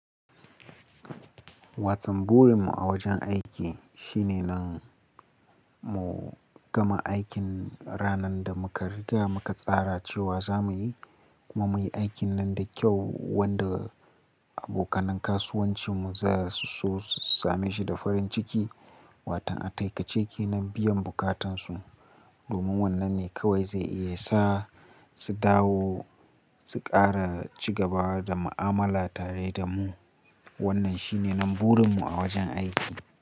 Watan burin mu a wajen aiki shine nan mu gama aikin ranan da muka riga muka tsara cewa za muyi, kuma muyi aikin nan da kyau, wanda abokanin kasuwancin mu za su so su same shi da farin ciki. Watan ataikace kenan biyan bukatan su. Domin wannan ne kawai zai iya sa su dawo, su kara cigabawa da mu'amala tare da mu. Wannan shine nan burin mu a wajen aiki.